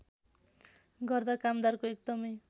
गर्दा कामदारको एकदमै